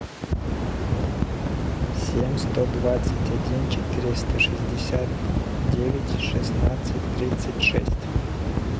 семь сто двадцать один четыреста шестьдесят девять шестнадцать тридцать шесть